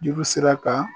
Juru sera ka